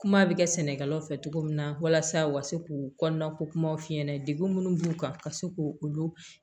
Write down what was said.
Kuma bɛ kɛ sɛnɛkɛlaw fɛ cogo min na walasa u ka se k'u kɔnɔna ko kumaw f'i ɲɛna degun minnu b'u kan ka se k'u olu